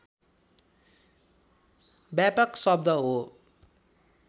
व्यापक शब्द हो